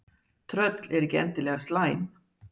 tröll eru ekki endilega slæm